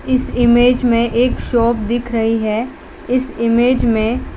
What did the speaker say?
इस इमेज में एक शॉप दिख रही हैं इस इमेज में--